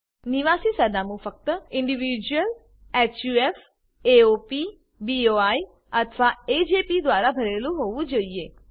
નિવાસી સરનામું ફક્ત ઇન્ડિવિડ્યુઅલ્સ હફ એઓપી બોઈ અથવા એજેપી દ્વારા ભરેલું હોવું જોઈએ